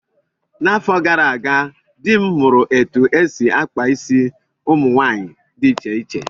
N'afọ gara aga, di m mụrụ etu esi-akpa isi ụmụ nwaanyị dị iche iche